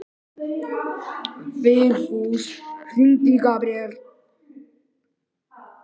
Vigfús, hringdu í Gabriel.